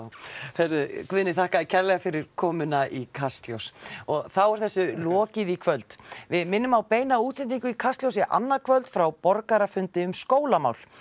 heyrðu Guðni þakka þér kærlega fyrir komuna í Kastljós og þá er þessu lokið í kvöld við minnum á beina útsendingu í Kastljósi annað kvöld frá borgarafundi um skólamál